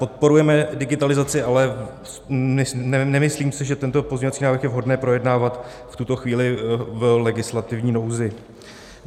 Podporujeme digitalizaci, ale nemyslím si, že tento pozměňovací návrh je vhodné projednávat v tuto chvíli v legislativní nouzi.